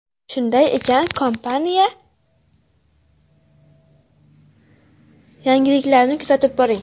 Shunday ekan, kompaniya yangiliklarini kuzatib boring!